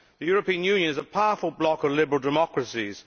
The European Union is a powerful bloc of liberal democracies.